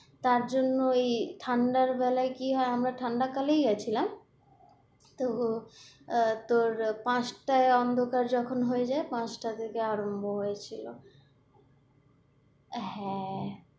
তার জন্য ওই, ঠান্ডার বেলায় গিয়ে কি হয় আমরা ঠান্ডা কালেই গেছিলাম তো আহ তো পাঁচটায় অন্ধকার যখন হয়ে যায়, পাঁচটা থেকে আরম্ভ হয়েছিল হ্যাঁ,